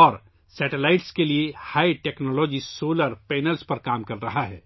اور سیٹلائٹس کے لیے ہائی ٹیکنالوجی سولر پینلز پر کام کر رہا ہے